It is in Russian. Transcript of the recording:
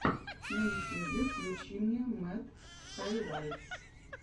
на ютьюбе включи мне мэд хайлайтс